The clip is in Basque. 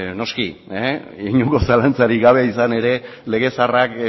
noski inongo zalantzarik gabe izan ere lege zaharrak